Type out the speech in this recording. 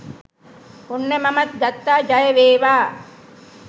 ඔන්න මමත් ගත්තා ජය වේවා